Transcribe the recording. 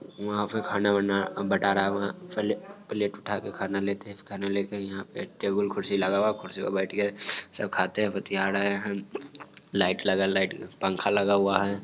वहा पे खाना वाना बटा रहा है| वहा फल प्लेट उठके खाना लेके खाना लेके यहाँ पे टेबल खुर्सी लगा हुआ। खुर्सी पे बैठ के सब खाते बतीया रहे हैं। लाइट लागल लाइट पंखा लगा हुआ हैं।